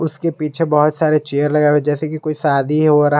इसके पीछे बहुत सारे चेयर लगाए हुए हैं जैसे की कोई शादी हो रहा हो।